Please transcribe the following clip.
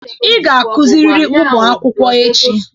Ị ga-akuziriri ụmụ akwụkwọ echi!